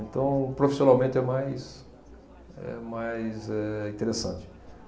Então, profissionalmente é mais, é mais eh, interessante.